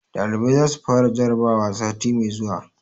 Ɗalibai za su fara jarabawa sati mai zuwa.